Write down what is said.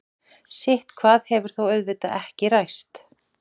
sitthvað hefur þó auðvitað ekki ræst